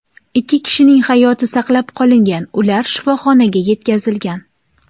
Ikki kishining hayoti saqlab qolingan, ular shifoxonaga yetkazilgan.